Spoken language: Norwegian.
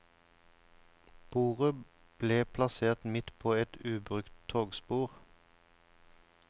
Bordet ble plassert midt på et ubrukt togspor.